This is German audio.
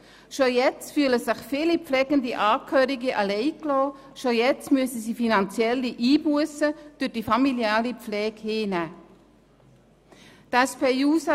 Bereits jetzt fühlen sich viele pflegende Angehörige alleingelassen, bereits jetzt müssen sie durch die familiale Pflege finanzielle Einbussen hinnehmen.